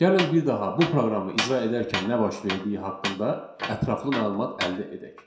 Gəlin bir daha bu proqramı icra edərkən nə baş verdiyi haqqında ətraflı məlumat əldə edək.